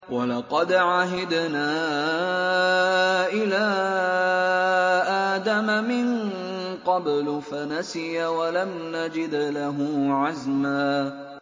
وَلَقَدْ عَهِدْنَا إِلَىٰ آدَمَ مِن قَبْلُ فَنَسِيَ وَلَمْ نَجِدْ لَهُ عَزْمًا